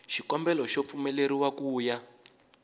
xikombelo xo pfumeleriwa ku ya